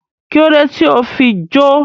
Kílódé tí o fi jó?